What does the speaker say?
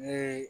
Ne